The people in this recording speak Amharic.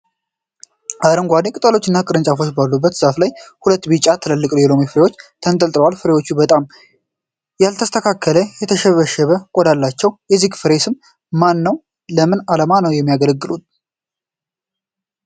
አረንጓዴ ቅጠሎችና ቅርንጫፎች ባሉት ዛፍ ላይ ሁለት ቢጫማ ትልልቅ የሎሚ ፍሬዎች ተንጠልጥለዋል። ፍሬዎቹ በጣም ያልተስተካከለ፣ የተሸበሸበ ቆዳ አላቸው። የዚህ ፍሬ ስም ማን ነው? ለምን ዓላማ ነው የሚያገለግለው?